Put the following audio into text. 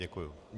Děkuji.